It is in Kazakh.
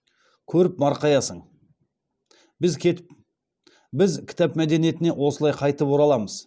көріп марқаясың біз кітап мәдениетіне осылай қайтып ораламыз